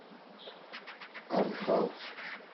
артхаус